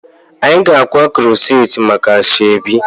Anyị ga-akwa corset maka asoebi